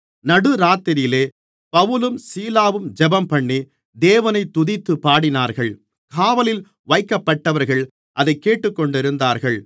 நடுராத்திரியிலே பவுலும் சீலாவும் ஜெபம்பண்ணி தேவனைத் துதித்துப்பாடினார்கள் காவலில் வைக்கப்பட்டவர்கள் அதைக்கேட்டுக்கொண்டிருந்தார்கள்